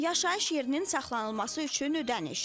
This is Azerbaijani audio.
Yaşayış yerinin saxlanılması üçün ödəniş.